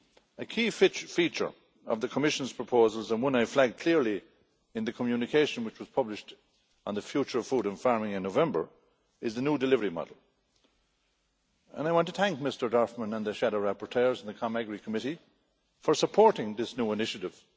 A key feature of the Commission's proposals and one I have flagged clearly in the communication which was published on the future of food and farming in November is the new delivery model, and I want to thank Mr Dorfmann and the shadow rapporteurs and the AGRI Committee for supporting this new initiative.